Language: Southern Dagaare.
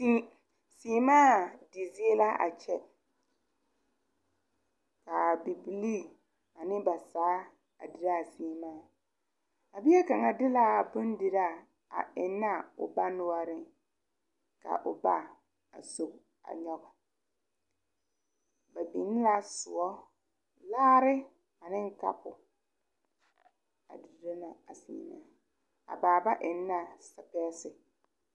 Seɛmaa di zie la a kyɛ, kaa Bibilee ane ba taa a dire a seɛmaa ,a bie kaŋa di la a bondire a eŋe a ba nore ,ka o ba a soŋ a nyoŋ, ba biŋ la soɔ, laare ane kapu ba dire la a seɛmaa a baaba eŋ la sipɛsi.